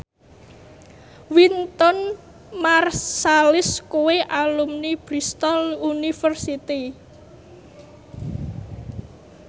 Wynton Marsalis kuwi alumni Bristol university